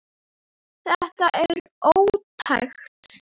Þetta er ótækt.